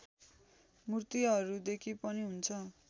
मूर्तिहरूदेखि पनि हुन्छ